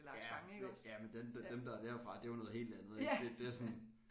Ja jamen dem dem der er derfra det er jo noget helt andet det sådan